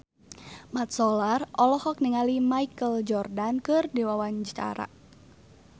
Mat Solar olohok ningali Michael Jordan keur diwawancara